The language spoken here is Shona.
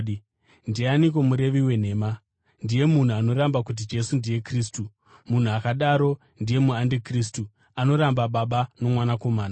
Ndianiko murevi wenhema? Ndiye munhu anoramba kuti Jesu ndiye Kristu. Munhu akadaro ndiye andikristu, anoramba Baba noMwanakomana.